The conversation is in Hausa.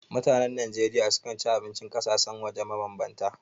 Mutanen Najeriya sukan ci abincin ƙasashen waje mabambanta.